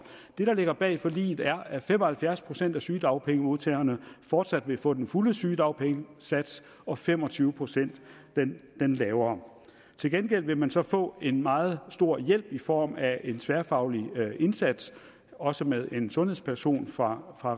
det der ligger bag forliget er at fem og halvfjerds procent af sygedagpengemodtagerne fortsat vil få den fulde sygedagpengesats og fem og tyve procent den lavere til gengæld vil man så få en meget stor hjælp i form af en tværfaglig indsats også med en sundhedsperson fra